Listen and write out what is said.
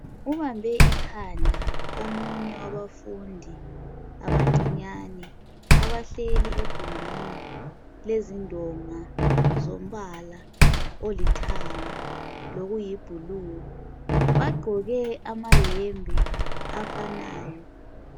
Ubambe ikhanda omunye wabafundi abancinyane abahleli egumbini lezindonga zombala oithanga lokuyi "blue".Bagqoke amayembe afanayo.